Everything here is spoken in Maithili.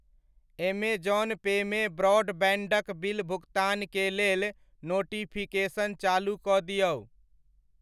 ऐमेज़ौन पे मे ब्रॉडबैण्ड क बिल भुकतान के लेल नोटिफिकेशन चालू कऽ दिऔ।